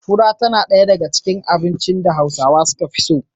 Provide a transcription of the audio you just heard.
Fura tana ɗaya daga cikin abincin da Hausawa suka fi so.